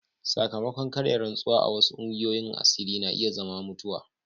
Sakamakon karya rantsuwa a wasu kungiyoyin asiri na iya zama mutuwa.